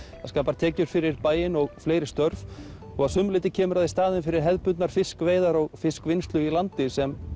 það skapar tekjur fyrir bæinn og fleiri störf og að sumu leyti kemur það í staðinn fyrir hefðbundnar fiskveiðar og fiskvinnslu í landi sem